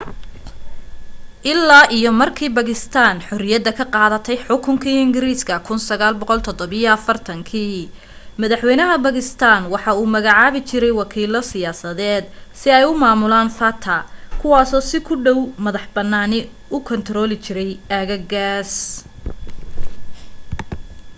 ilaa iyo markii bakistaan xorriyada ka qaadatay xukunkii ingiriiska 1947 madaxwaynaha bakistaan wuxu u magacaabi jiray wakiilo siyaasadeed si ay u maamulaan fata kuwaasoo si ku dhow madax bannaani u kaantarooli jiray aagagaaas